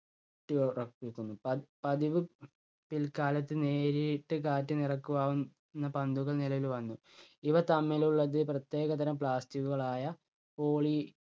ട്ടിയുറപ്പിക്കുന്നു. പ~പതിവ് പിൽക്കാലത്ത് നേരിട്ട് കാറ്റ് നിറക്കുവാ~ന്ന പന്തുകൾ നിലവിൽ വന്നു. ഇവ തമ്മിലുള്ളത് പ്രത്യേകതരം plastic കളായ poly